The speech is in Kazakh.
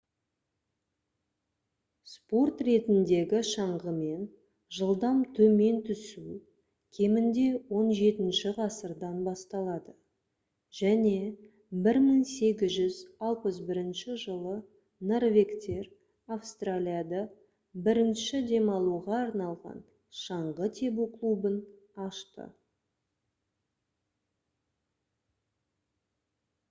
спорт ретіндегі шаңғымен жылдам төмен түсу кемінде 17-ші ғасырдан басталады және 1861 жылы норвегтер австралияда бірінші демалуға арналған шаңғы тебу клубын ашты